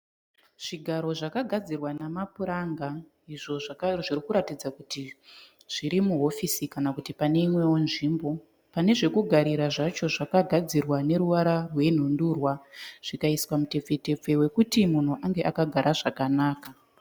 Zvigaro zvakagadzirwa nama puranga, izvo zvirikuratidza kuti zviri muhofisi kana kuti pane imwewo nzvimbo. Panezvekugarira zvacho zvakagadzirwa neruvara rwe nhundurwa zvikaiswa mutepfe tepfe wekuti munhu anenge akagara zvakanaka.